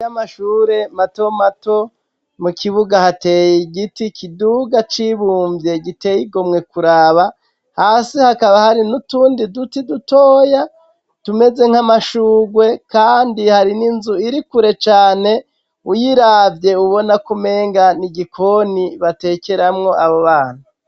Amashure mato mato mu kibuga hateye giti kiduga cibumvye giteye igomwe kuraba hasi hakaba hari n'utundi duti dutoya tumeze nk'amashugwe kandi hari n'inzu iri kure cane uyiravye ubona ko umenga ni igikoni batekeramwo abo bana.